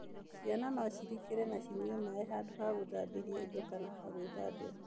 Ciana no cirikĩre na cinyue maĩ handũ ha gũthambĩria indo kana hagwithambĩra.